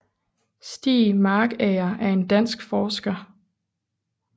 Stiig Markager er en dansk forsker